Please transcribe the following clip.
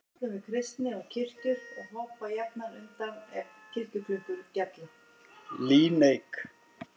Líneik